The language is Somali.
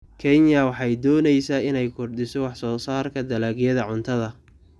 Kenya waxay doonaysaa inay kordhiso wax soo saarka dalagyada cuntada.